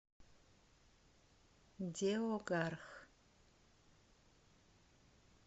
деогарх